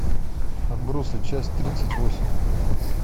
отбросы часть тридцать восемь